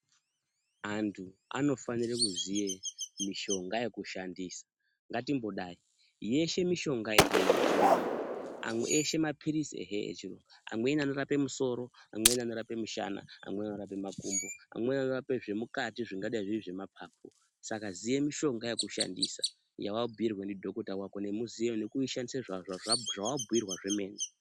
Antu anofanire kuziye mishonga yekushandisa. Ngatimbodai, yeshe mishonga yechirungu. Amwe eshe maphirisi ehe echirungu, amweni anorape musoro, amweni anorape mushana, amweni anorape makumbo. Amweni anorape zvemukati zvangadai zviri zvemapapu. Saka ziye mishonga yekushandisa yawabhuirwa ndidhokuta wako. Nekuishandisa zvawabhuirwa zvemene.